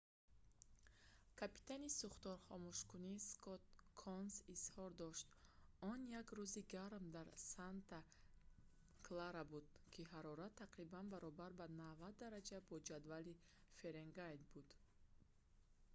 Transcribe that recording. капитани сӯхторхомӯшкунӣ скотт конс изҳор дошт он як рӯзи гарм дар санта клара буд ки ҳарорат тақрибан баробар ба 90 дараҷа бо ҷадвали фаренгейт буд